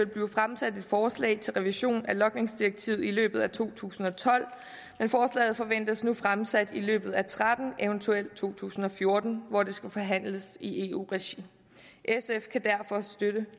blive fremsat et forslag til revision af logningsdirektivet i løbet af to tusind og tolv men forslaget forventes nu fremsat i løbet af og tretten eventuelt to tusind og fjorten hvor det skal forhandles i eu regi sf kan derfor støtte